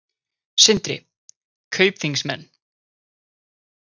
Sindri: Kaupþingsmenn?